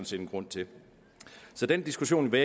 set en grund til så den diskussion vil